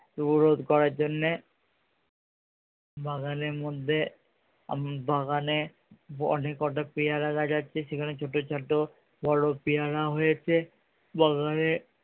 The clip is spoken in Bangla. রোধ করার জন্যে বাগানের মধ্যে আম বাগানে অনেক কটা পেয়ারা গাছ আছে সেখানে ছোটো ছোটো বড়ো পেয়ারা হয়েছে বাগানে